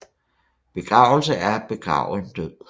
Begravelse er at begrave en død